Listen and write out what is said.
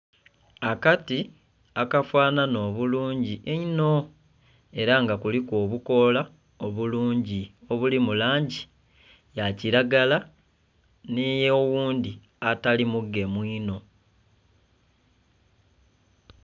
Akati akafananha obulungi einho era nga kuliku obukoola obulungi obuli mu langi ya kilagala nhe yo oghundhi agali omugemu onho.